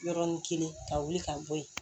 Yɔrɔnin kelen ka wuli ka bɔ yen